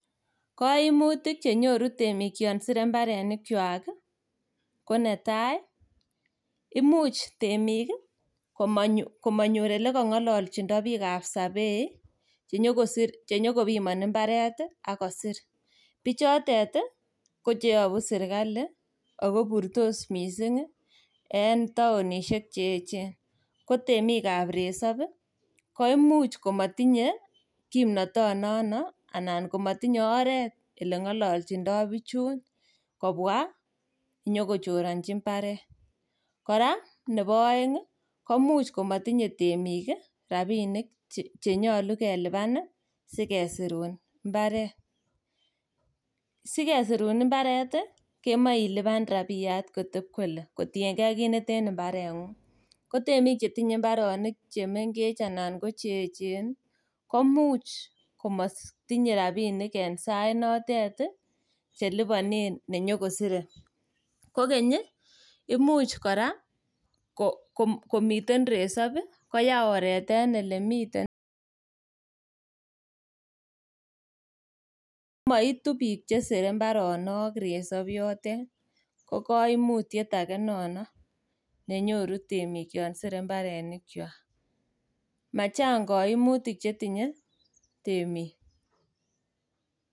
Koimutik chenyoru temik yon sire mbaronikwak ko netai ,imuch temik komonyor olekong'ololchindo bikab sabei chenyokobimoni mbaret ak kosir, bichotet ii ko cheyobu sirkali ako iburtos missing en taonisiek cheechen, ko temik ab resop koimuch komatinye kimnotonono anan oreet oleng'ololchindo bichun kobwa inyokochoronchi mbaret, kora nebo oeng koimuch komotinye temik rabinik chenyolu kelipan sikesirun mbaret, sikesirun mbaret kemoe ilipan rabiat koteb kole kotiengen ak kiit neten mbarenyung, ko temik chetinye mbaronik chemengechen anan ko cheechen komuch komotinye rabinik en sainotet cheliponen nenyokosire, kokeny ii, imuch kora komiten resop koyaa oreet en olemiten ko moitu biik chesire mbaronik resop yotet, ko kaimutiet age nono nenyoru temik yon sire mbaronikwak, machang' koimutik chetinye temik.